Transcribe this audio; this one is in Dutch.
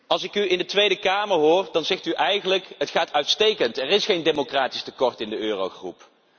Als ik u in de Tweede Kamer hoor, dan zegt u eigenlijk het gaat uitstekend, er is geen democratisch tekort in de eurogroep.